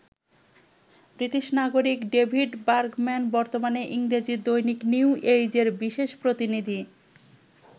British নাগরিক David Bergman বর্তমানে ইংরেজি দৈনিক নিউ এইজের বিশেষ প্রতিনিধি।